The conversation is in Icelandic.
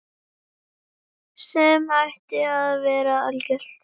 Sem ætti að vera algilt.